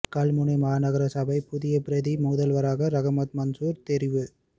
கல்முனை மாநகர சபையின் புதிய பிரதி முதல்வராக ரஹ்மத் மன்சூர் தெரிவு